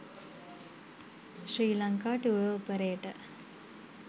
sri lanka tour operator